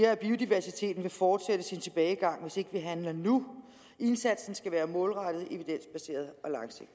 der biodiversiteten vil fortsætte sin tilbagegang hvis ikke vi handler nu indsatsen skal være målrettet evidensbaseret